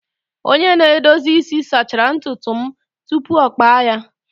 Onye na-edozi isi sachara ntutu m tupu ọ kpa ya.